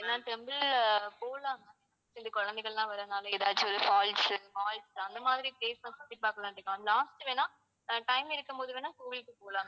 ஏன்னா temple போலாம் ma'am எங்க குழந்தைகள் எல்லாம் வரதுனால ஏதாச்சு ஒரு falls உ malls அந்த மாதிரி place எல்லாம் சுற்றிப்பார்க்கலாமே ma'am last வேண்ணா அஹ் time இருக்கும்போது வேண்ணா கோவிலுக்குப் போகலாம் maam